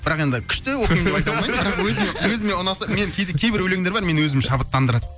бірақ енді күшті оқимын деп айта алмаймын өзіме өзіме ұнаса мен кейде кейбір өлеңдер бар мені өзі шабыттандырады